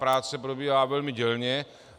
Práce probíhá velmi dělně.